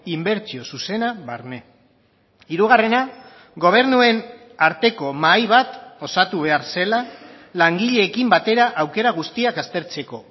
inbertsio zuzena barne hirugarrena gobernuen arteko mahai bat osatu behar zela langileekin batera aukera guztiak aztertzeko